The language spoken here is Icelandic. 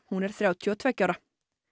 hún er þrjátíu og tveggja ára